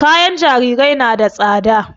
Kayan jarirai na da tsada